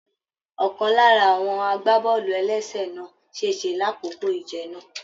Ọkan lára àwọn agbábọọlu-ẹlẹsẹ na sese l'akoko ìje náà.